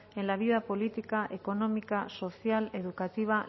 en la vía política económica social educativa